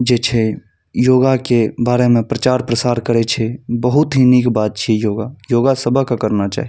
जे छै योगा के बारे में प्रचार-प्रसार करे छै बहुत ही निक बात छै योगा योगा सबके करना चाही।